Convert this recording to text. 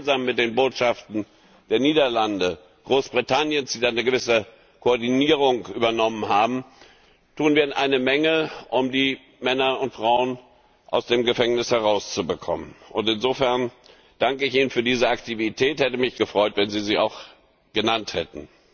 Gemeinsam mit den Botschaften der Niederlande und Großbritanniens die eine gewisse Koordinierung übernommen haben tun wir eine Menge, um die Männer und Frauen aus dem Gefängnissen herauszubekommen. Insofern danke ich Ihnen für diese Aktivität, ich hätte mich gefreut, wenn Sie sie auch genannt hätten.